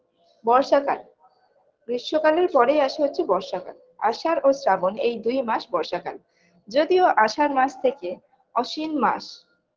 বর্ষাকাল গ্রীস্ম কালের পরেই আসে হচ্ছে বর্ষাকাল আষাঢ় ও শ্রাবণ এই দুই মাস বর্ষাকাল যদিও আষাঢ় মাস থেকে অস্বিন মাস